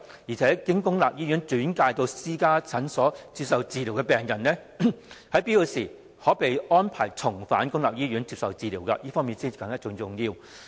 此外，經公立醫院轉介至私家診所接受治療的病人，在有必要時，應可獲安排重返公立醫院接受治療，這點甚為重要。